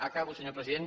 acabo senyor president